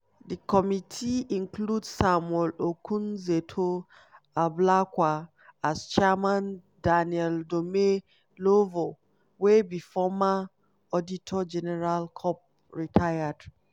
di committee include samuel okudzeto ablakwa as chairman daniel domelevo wey be former auditor general cop (rtd)